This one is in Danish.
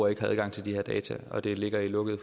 ikke har adgang til de her data og det ligger i lukkede